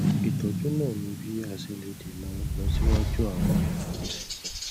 ìtọjú náà ní bí a ṣe lè dènà ìlọsíwájú àwọn àmì àìsàn